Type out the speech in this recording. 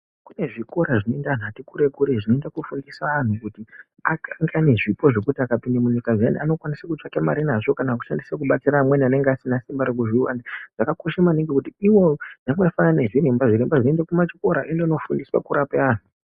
Kune zvikora zvinoenda antu ati kure kure zvinoita kufundisa antu kuti aite zvipo zvekuti kana akapinda munyika zviyani. Antu ayani anokwanisa kutsvaka mari nazvo kana kushandisa kubatsira amweni anenge asina simba rekuzviwana. Zvakakosha maningi kuti ivo. Zvakafanana nemazviremba. Zviremba zvinoenda kuchikora zvondofundiswa kurapa antu.